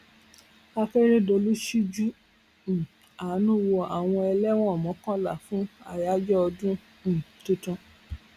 akérèdọlù ṣíjú um àánú wo àwọn ẹlẹwọn mọkànlá fún àyájọ ọdún um tuntun